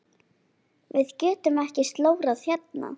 Við getum ekki slórað hérna.